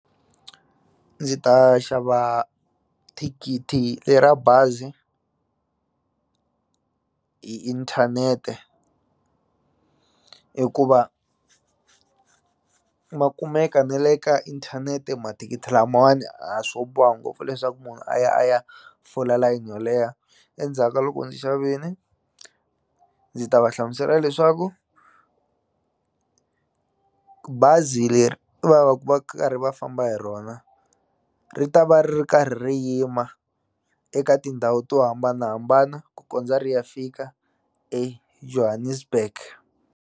Ndzi ta xava thikithi ra bazi hi inthanete hikuva ma kumeka ne le ka inthanete mathikithi lamawani a swo boha ngopfu leswaku munhu a ya a ya fola layeni yo leha endzhaka loko ndzi xavini ndzi ta va hlamusela leswaku bazi leri va va ku va karhi va famba hi rona ri ta va ri ri karhi ri yima eka tindhawu to hambanahambana ku kondza ri ya fika eJohannesburg.